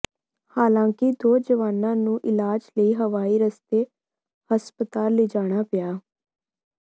ਹਾਲਾਂਕਿ ਦੋ ਜਵਾਨਾਂ ਨੂੰ ਇਲਾਜ ਲਈ ਹਵਾਈ ਰਸਤੇ ਹਸਪਤਾਲ ਲਿਜਾਣਾ ਪਿਆ